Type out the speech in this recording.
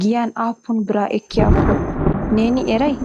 giyyan aappun bira ekkiyaakko neeni eray?